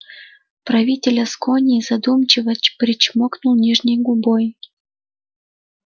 правитель аскони задумчиво причмокнул нижней губой